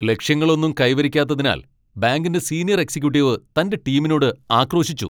ലക്ഷ്യങ്ങളൊന്നും കൈവരിക്കാത്തതിനാൽ ബാങ്കിന്റെ senior executive തന്റെ ടീമിനോട് ആക്രോശിച്ചു .